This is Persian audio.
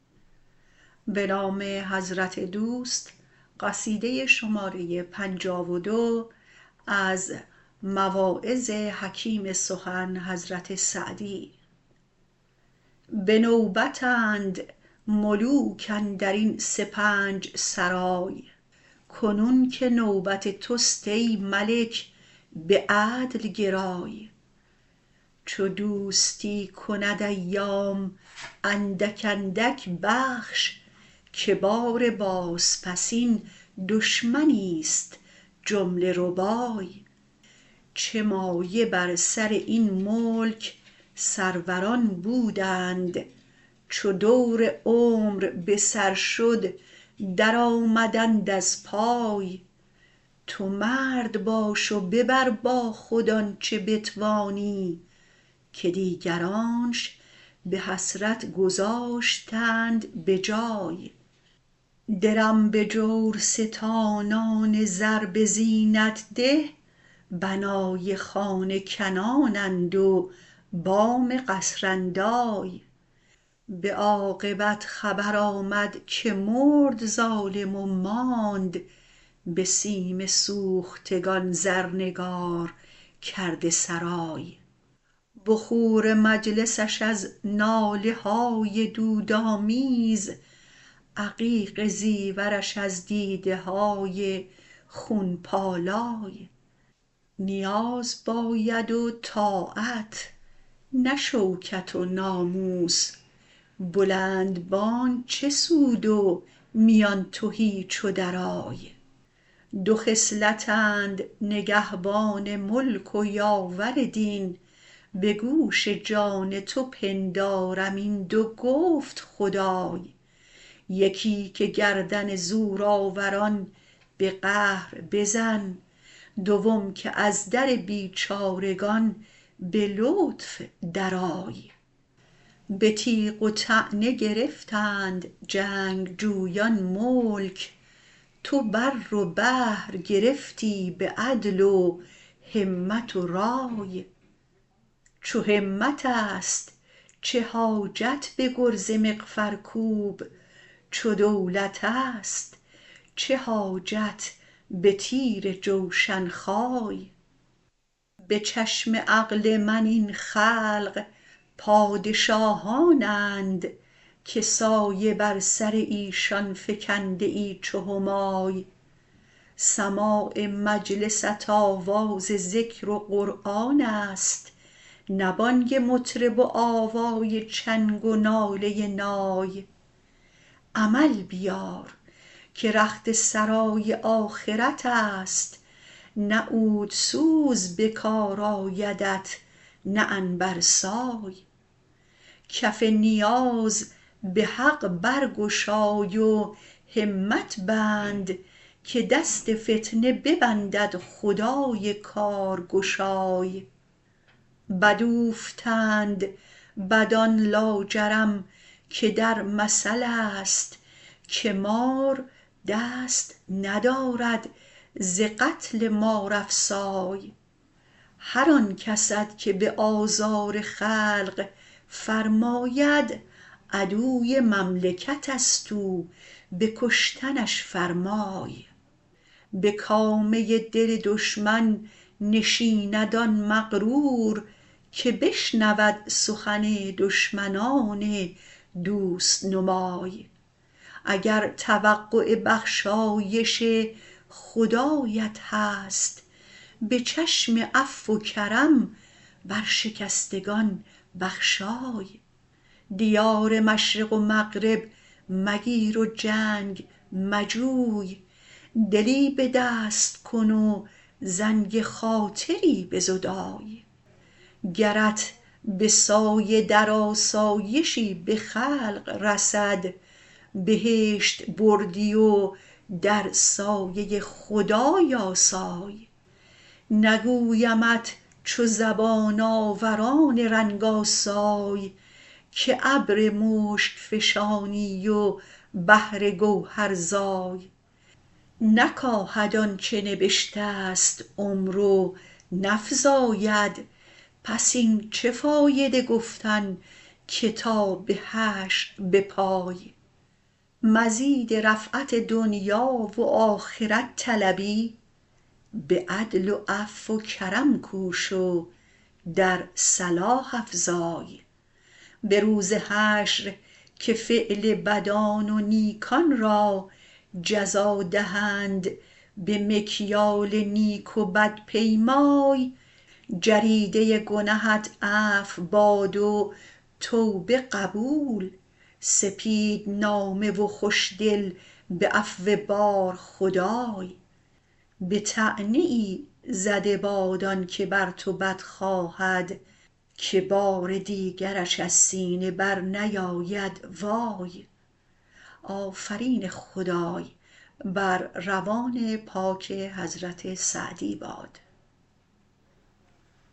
به نوبت اند ملوک اندرین سپنج سرای کنون که نوبت تست ای ملک به عدل گرای چه دوستی کند ایام اندک اندک بخش که بار بازپسین دشمنیست جمله ربای چه مایه بر سر این ملک سروران بودند چو دور عمر به سر شد درآمدند از پای تو مرد باش و ببر با خود آنچه بتوانی که دیگرانش به حسرت گذاشتند به جای درم به جورستانان زربه زینت ده بنای خانه کنان اند و بام قصراندای به عاقبت خبر آمد که مرد ظالم و ماند به سیم سوختگان زرنگارکرده سرای بخور مجلسش از ناله های دودآمیز عقیق زیورش از دیده های خون پالای نیاز باید و طاعت نه شوکت و ناموس بلند بانگ چه سود و میان تهی چو درای دو خصلت اند نگهبان ملک و یاور دین به گوش جان تو پندارم این دو گفت خدای یکی که گردن زورآوران به قهر بزن دوم که از در بیچارگان به لطف درآی به تیغ و طعنه گرفتند جنگجویان ملک تو بر و بحر گرفتی به عدل و همت و رای چو همت است چه حاجت به گرز مغفرکوب چو دولت است چه حاجت به تیر جوشن خای به چشم عقل من این خلق پادشاهان اند که سایه بر سر ایشان فکنده ای چو همای سماع مجلست آواز ذکر و قرآن است نه بانگ مطرب و آوای چنگ و ناله ی نای عمل بیار که رخت سرای آخرت است نه عودسوز به کار آیدت نه عنبرسای کف نیاز به حق برگشای و همت بند که دست فتنه ببندد خدای کارگشای بد اوفتند بدان لاجرم که در مثل است که مار دست ندارد ز قتل مارافسای هر آن کست که به آزار خلق فرماید عدوی مملکت است او به کشتنش فرمای به کامه ی دل دشمن نشیند آن مغرور که بشنود سخن دشمنان دوست نمای اگر توقع بخشایش خدایت هست به چشم عفو و کرم بر شکستگان بخشای دیار مشرق و مغرب مگیر و جنگ مجوی دلی به دست کن و زنگ خاطری بزدای گرت به سایه در آسایشی به خلق رسد بهشت بردی و در سایه ی خدای آسای نگویمت چو زبان آوران رنگ آسای که ابر مشک فشانی و بحر گوهرزای نکاهد آنچه نبشته ست عمر و نفزاید پس این چه فایده گفتن که تا به حشر بپای مزید رفعت دنیا و آخرت طلبی به عدل و عفو و کرم کوش و در صلاح افزای به روز حشر که فعل بدان و نیکان را جزا دهند به مکیال نیک وبدپیمای جریده ی گنهت عفو باد و توبه قبول سپیدنامه و خوشدل به عفو بار خدای به طعنه ای زده باد آنکه بر تو بد خواهد که بار دیگرش از سینه برنیاید وای